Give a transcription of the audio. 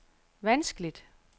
vanskeligt